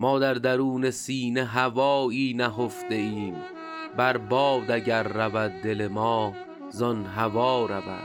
ما در درون سینه هوایی نهفته ایم بر باد اگر رود دل ما زان هوا رود